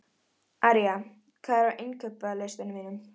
Arja, hvað er á innkaupalistanum mínum?